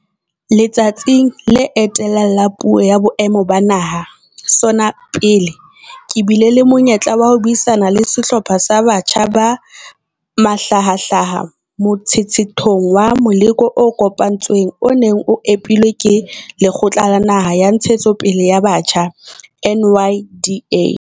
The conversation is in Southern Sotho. Letsatsing le etellang la Puo ya Boemo ba Naha SONA pele, ke bile le monyetla wa ho buisana le sehlopha sa batjha ba mahlahahlaha motshetshethong wa meloko e kopantsweng o neng o epilwe ke Lekgotla la Naha la Ntshetsopele ya Batjha NYDA.